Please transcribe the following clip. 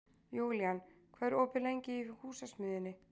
Júlían, hvað er opið lengi í Húsasmiðjunni?